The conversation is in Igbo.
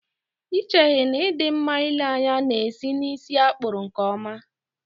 Ị cheghị na ị dị mma ịle anya na-esi n'ísí a kpụrụ nkeọma?